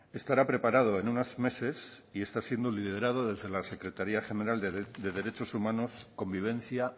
estará preparado en unos meses y está siendo liderado desde la secretaria general de derechos humanos convivencia